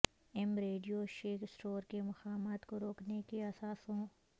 M Radio Shack store کے مقامات کو روکنے کے اثاثوں